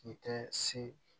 K'i tɛ se